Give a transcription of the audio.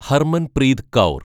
Harmanpreet Kaur